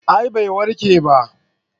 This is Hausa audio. a'a bai warke ba